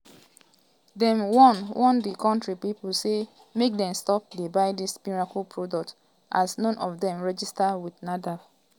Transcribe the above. dem warn warn di kontri pipo say make dem stop dey buy dis miracle products as none of dem dey registered wit nafdac.